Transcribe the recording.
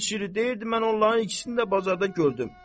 And içirik deyirdi mən onların ikisini də bazarda gördüm.